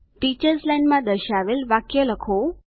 teachers line માં દર્શાવેલ વાક્ય લખો